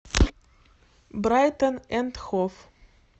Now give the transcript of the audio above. брайтон энд хов